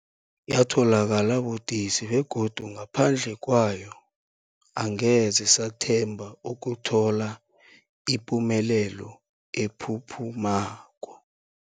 Yatholakala budisi, begodu ngaphandle kwayo angeze sathemba ukuthola ipumelelo ephuphumako.